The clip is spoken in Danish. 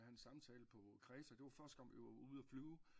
Jeg havde en samtale på Kreta det var første gang vi var ude og flyve